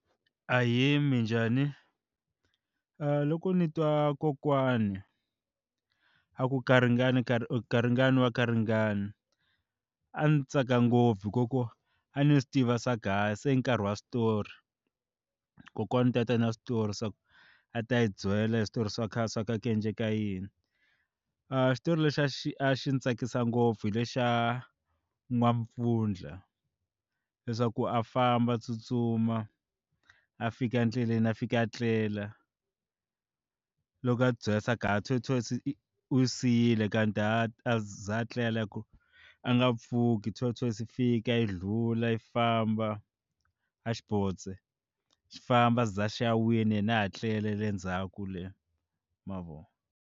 Ahee, minjhani? Loko ni twa kokwani a ku garingani garingani wa garingani a ndzi tsaka ngopfu hi ku a ni swi tiva swa se i nkarhi wa switori ku kokwana i ta ta na switori swa ku a ta yi byela hi switori swa khale swa ku a ku endleka yini a xitori lexi a xi a xi ndzi tsakisa ngopfu hi lexa N'wampfundla leswaku a famba a tsutsuma a fika endleleni a fika a tlela loko a tibyela leswaku tortoise i xi siyile kanti a za etlela hi ku a nga pfuki tortoise yi fika yi ndlula yi famba N'waxibodze xi famba ze xi ya wina yena a ha tlele le ndzhaku le ma vo.